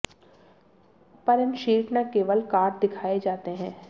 पर इन शीट न केवल कार्ड दिखाए जाते हैं